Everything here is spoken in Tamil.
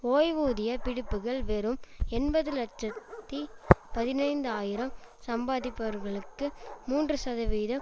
ஓய்வூதிய பிடிப்புகள் வெறும் எண்பது இலட்சத்தி பதினைந்து ஆயிரம் சம்பாதிப்பவர்களுக்கு மூன்று சதவீதம்